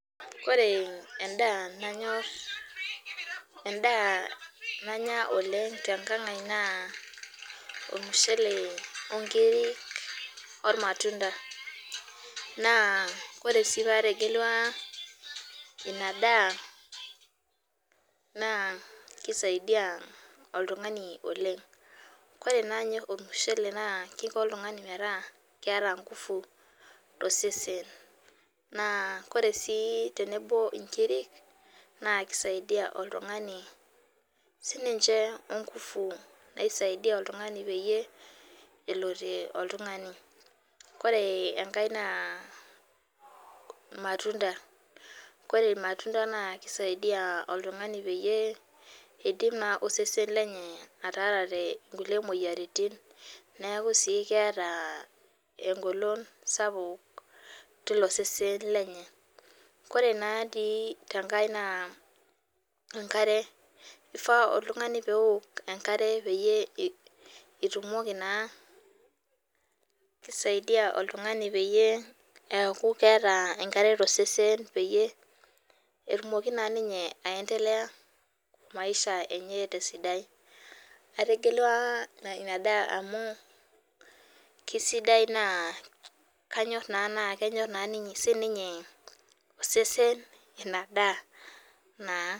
Ore endaa nanyorr, endaa nanya oleng tenkangai naa ormushele inkiri olmatunda, naa ore sii paategelua inadaa, naa keisaidia oleng. Kore naa ninye ormushele naa keiko oltungani metaa keeta enkufu te osesen, naa kore sii tenebo onkiri naa keisaidia oltungani sii ninche onkufu neisaidia oltungani peyie elotie oltungani. Kore engae naa ilmatunda, kore olmatunda naa kaisidiya oltungani peyie eidim naa osesen lenye atara nkule imoyiaritin neaku sii keete engolong sapuk teilo sesen lenye. Kore natii tenkae naa enkare eifaa oltungani peok enkare peyie etumoki naa ,keisidai oltungani peyie eaku keeeta enkare to osesen, peyie atumoki naa ninye aentelea imaisha enye te sidai. Ategelua inadaa amuu kesidai naa kanyorr naa sii ninye osesen inadaa naa.